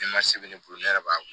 Ni ma se bɛ ne bolo ne yɛrɛ b'a